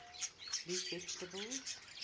leaf vegetables